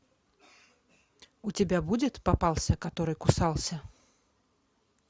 у тебя будет попался который кусался